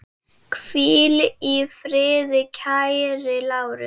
Hvíl í friði kæri Lárus.